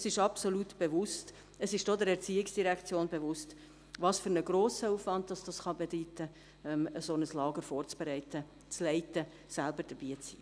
Es ist mir absolut bewusst, es ist auch der ERZ bewusst, welch grossen Aufwand dies bedeuten kann, ein solches Lager vorzubereiten, dieses zu leiten und selbst dabei zu sein.